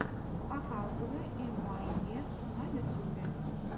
показывай эмуаййэ на ютюбе